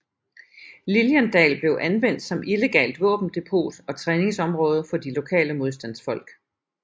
Liliendal blev anvendt som illegalt våbendepot og træningsområde for de lokale modstandsfolk